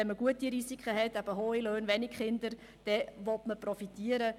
Wenn man gute Risiken hat, das heisst hohe Löhne und wenige Kinder, will man profitieren.